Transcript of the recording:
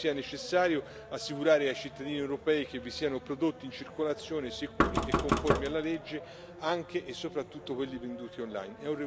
Io credo sia necessario assicurare ai cittadini europei che vi siano prodotti in circolazione sicuri e conformi alla legge, anche e soprattutto quelli venduti online.